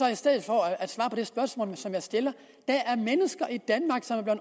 i stedet for at svare på det spørgsmål jeg stiller der er mennesker i danmark som